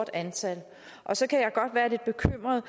antal så kan jeg godt være lidt bekymret